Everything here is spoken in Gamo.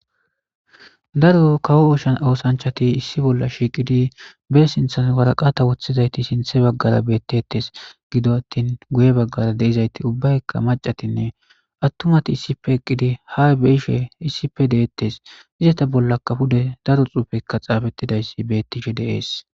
Daro kawo oshan oosanchati issi bolla shiiqidi be sinthan waraqata woththizayti sinthe baggara bettettes gido attin guye baggara deizayti ubbayka mac'atinne attumati issife eqqidi ha beishe issife deettes izata bolla kafude daro xuufekka xaabettidayssi bettishe de'es.